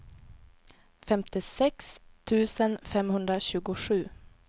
femtiosex tusen femhundratjugosju